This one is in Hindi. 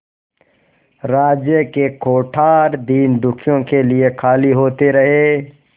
राज्य के कोठार दीनदुखियों के लिए खाली होते रहे